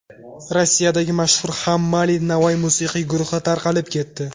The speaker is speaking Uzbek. Rossiyadagi mashhur HammAli & Navai musiqiy guruhi tarqalib ketdi.